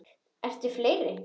Eru fleiri?